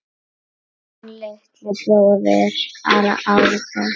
Þinn litli bróðir, Árni.